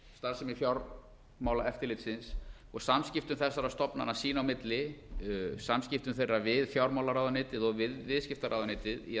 starfsemi fjármálaeftirlitsins og samskiptum þessara stofnana sín á milli samskiptum þeirra við fjármálaráðuneytið og við viðskiptaráðuneytið í